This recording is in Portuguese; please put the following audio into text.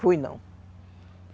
Fui, não.